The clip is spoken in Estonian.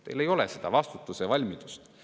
Teil ei ole seda vastutuse valmidust.